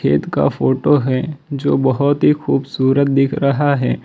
खेत का फोटो है जो बहोत ही खूबसूरत दिख रहा है।